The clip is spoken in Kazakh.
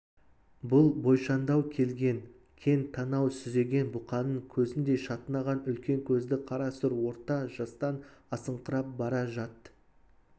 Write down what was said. бұл бойшаңдау келген кең танау сүзеген бұқаның көзіндей шатынаған үлкен көзді қара сұр орта жастан асыңқырап бара жат-